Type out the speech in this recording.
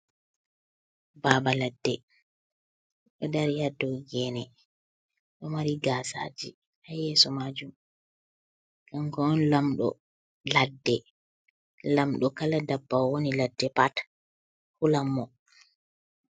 Babaladde do dari hado gene, do mari gasaji ha yeso majum kango on lamdo ladde lamdo kala dabbawa woni ha ladde pat hulan mo.